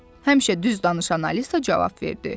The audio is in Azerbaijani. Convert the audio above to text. Həmişə düz danışan Alisa cavab verdi.